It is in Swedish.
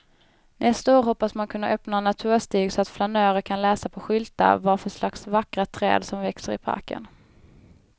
Nästa år hoppas man kunna öppna en naturstig så att flanörer kan läsa på skyltar vad för slags vackra träd som växer i parken.